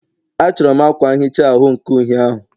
A chọrọ m akwa nhicha ahu nke uhie ahụ